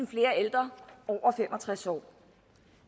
flere ældre over fem og tres år